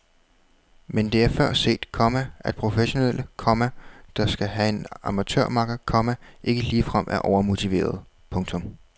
Men det er før set, komma at professionelle, komma der skal have en amatørmakker, komma ikke ligefrem er overmotiverede. punktum